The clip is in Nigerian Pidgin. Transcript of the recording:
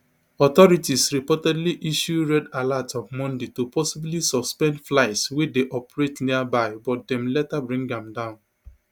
authorities reportedly issue red alert on monday to possibly suspend flights wey dey operate nearby but dem later bring am down